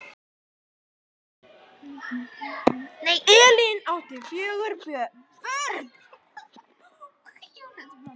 Elín átti fjögur börn.